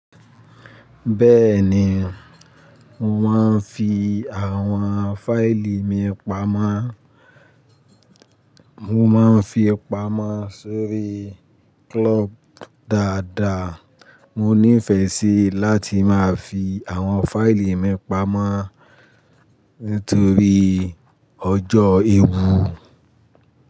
Bẹ́ẹ̀ ni, mo máa ń fi àwọn fáìlì mi pamọ́. Mo máa ń fi pamọ́ sórí cloud dáadáa. Mo nífẹ̀ẹ́ sí láti máa fi àwọn fáìlì mi pamọ́ nítorí ọjọ́ ewu.